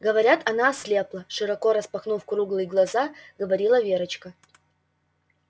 говорят она ослепла широко распахнув круглые глаза говорила верочка